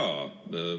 Jaa.